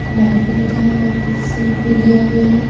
बैठने का सीट भी दिया गया है।